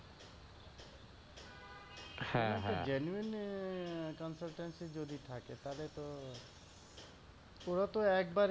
genuine এ consultancy যদি থাকে তালে তো ওরা তো একবারেই